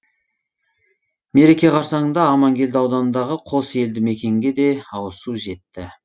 мереке қарссаңында аманкелді ауданындағы қос елді мекенге де ауызсу жетті